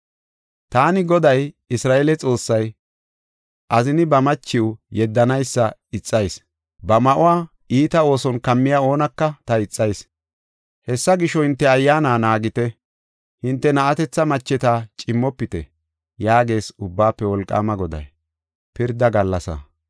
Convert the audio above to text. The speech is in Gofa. “Taani Goday, Isra7eele Xoossay, azini ba machiw yeddanaysa ixayis; ba ma7uwa iita ooson kammiya oonaka ta ixayis. Hessa gisho, hinte ayyaana naagite; hinte na7atetha macheta cimmofite” yaagees Ubbaafe Wolqaama Goday.